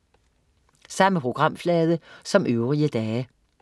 Samme programflade som øvrige dage